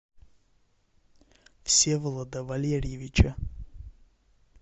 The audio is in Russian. всеволода валерьевича